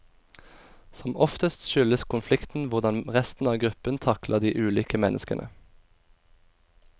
Som oftest skyldes konflikten hvordan resten av gruppen takler de ulike menneskene.